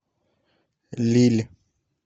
лилль